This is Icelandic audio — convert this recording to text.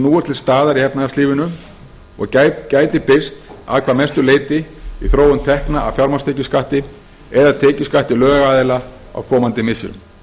er til staðar í efnahagslífinu og gæti birst að hvað mestu leyti í þróun tekna af fjármagnstekjuskatti eða tekjuskatti lögaðila á komandi misserum